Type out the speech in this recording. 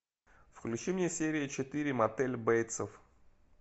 включи мне серию четыре мотель бейтсов